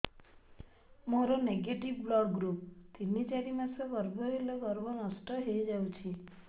ମୋର negative blood group ତିନ ଚାରି ମାସ ଗର୍ଭ ହେଲେ ଗର୍ଭ ନଷ୍ଟ ହେଇଯାଉଛି